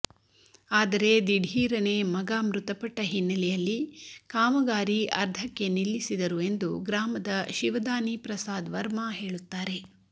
ಆದರೆ ದಿಢೀರನೇ ಮಗ ಮೃತಪಟ್ಟ ಹಿನ್ನೆಲೆಯಲ್ಲಿ ಕಾಮಗಾರಿ ಅರ್ಧಕ್ಕೆ ನಿಲ್ಲಿಸಿದರು ಎಂದು ಗ್ರಾಮದ ಶಿವದಾನಿ ಪ್ರಸಾದ್ ವರ್ಮಾ ಹೇಳುತ್ತಾರೆ